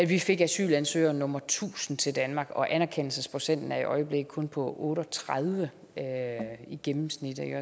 vi fik asylansøger nummer tusind til danmark og anerkendelsesprocenten er i øjeblikket kun på otte og tredive i gennemsnit